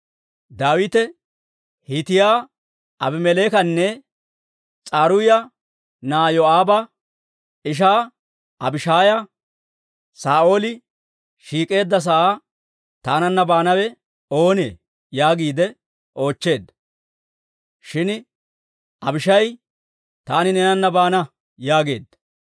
Daawite Hiitiyaa Abimeleekanne S'aruuya na'aa Yoo'aaba ishaa Abishaaya, «Saa'ooli shiik'eedda sa'aa taananna baanawe oonee?» yaagiide oochcheedda. Shin Abishaayi, «Taani neenana baana» yaageedda.